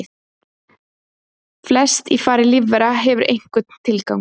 Flest í fari lífvera hefur einhvern tilgang.